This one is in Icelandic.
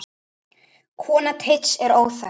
Kona Teits er óþekkt.